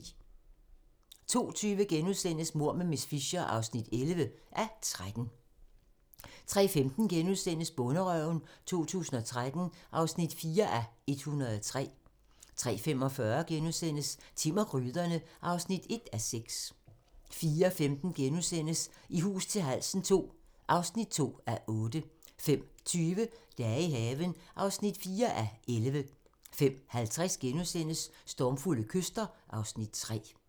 02:20: Mord med miss Fisher (11:13)* 03:15: Bonderøven 2013 (4:103)* 03:45: Timm og gryderne (1:6)* 04:15: I hus til halsen II (2:8)* 05:20: Dage i haven (4:11) 05:50: Stormfulde kyster (Afs. 3)*